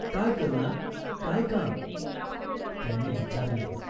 "काय करुणा, काय काम ?" त्याने विचारले.